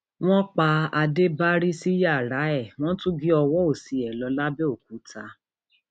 wọn pa ádébárí sí yàrá ẹ wọn tún gé ọwọ òsì ẹ lọ lápbèòkúta